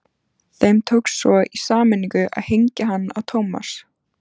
Þeim tókst svo í sameiningu að hengja hann á Thomas.